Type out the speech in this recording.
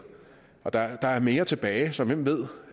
og der er mere tilbage så hvem ved